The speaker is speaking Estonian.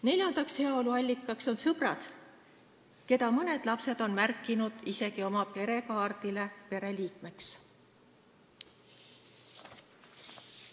Neljas heaolu allikas on sõbrad, keda mõned lapsed on märkinud isegi oma perekaardile pereliikmeks.